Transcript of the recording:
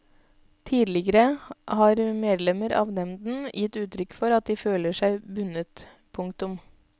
Tidligere har medlemmer av nevnden gitt uttrykk for at de føler seg bundet. punktum